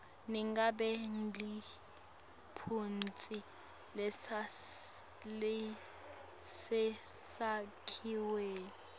nangabe liphutsa lisesakhiweni